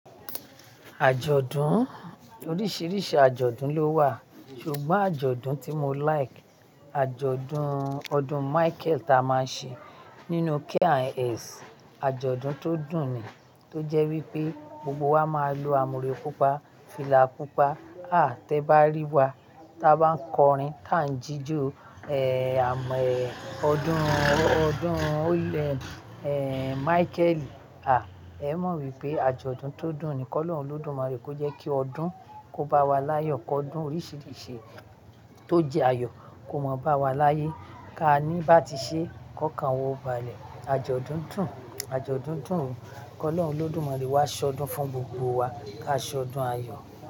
Àjọ̀dún, oríṣiríṣi àjọ̀dún lówà, ṣùgbọ́n àjọ̀dún tí mo like, àjọ̀dún ọdún Michael ta máa ń ṣe nínú K and S, àjọ̀dún tó dùn ni. Tó jẹ́ wípé gbogbo wa máa ń lo àmùrè pupa, fìlà pupa. À, tí ẹ bá rí wa tí a bá ń kọrin tá ń jíjó, ẹ́ àmọ́, ẹ́ odún, ọdún o le, ẹ́ Michael, à, ẹ́ mọ̀ wípé àjọ̀dún tó dùn ni. Kọ́'lọ́hun Olódùmarè kó jẹ́ kí ọdún kó bá wa láyọ̀, kó ọdún oríṣiríṣi tó jẹ́ ayọ̀ kó má bá wa láyé. Ká ní bá ti ṣe, kọ́kàn wọ ba lẹ̀, àjọ̀dún dùn, àjọ̀dún dùn. Kọ́ lọ̀ọ́ Olódùmarè wá ṣọdún fún gbogbo wa, ká ṣọdún ayọ̀.